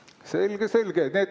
Selge-selge!